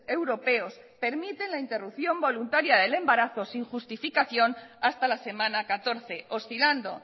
europeos permiten la interrupción voluntaria del embarazo sin justificación hasta la semana catorce oscilando